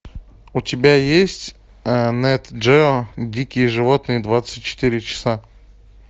у тебя есть нэт гео дикие животные двадцать четыре часа